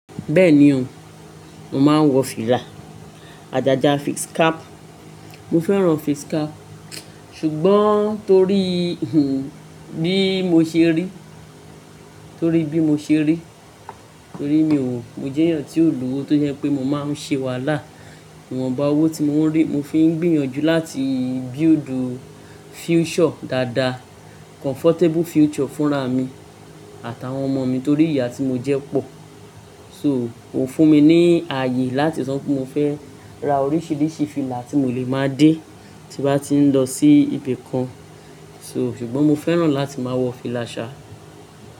Bẹ́ẹ̀ni ò, mo máa ń wọ fìlà, àjàjà face cap. Mo fẹ́ran face cap, ṣùgbọ́n torí, hun, bí mo ṣe rí, torí bí mo ṣe rí, torí mi ò, mo jẹ́ èèyàn tí ò lowò tó jẹ́ pé mo máa ń ṣe wàhálà. Nwọn ba owó tí mo ń rí, mo fi ń gbìyànjú láti build future dáadáa, comfortable future fúnra mi àtàwọn ọmọ mi torí ìyà tí mo jẹ́ pọ̀. So, kò fún mi ní ààyè láti sọ wipé mo fẹ́ ra oríṣiríṣi fìlà tí mo lè máa dé tí bá ti ń lọ sí ibì kan. So, ṣùgbọ́n mo fẹ́ran láti máa wọ fìlà ṣa.